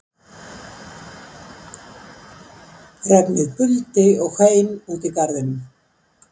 Regnið buldi og hvein úti í garðinum